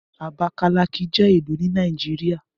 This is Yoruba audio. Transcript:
Abakalaki je ilu ni Nàìjíríà.